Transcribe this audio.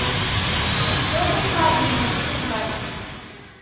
чертов мобильник искать